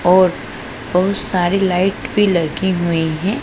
और बहुत सारी लाइट भी लगी हुई हैं।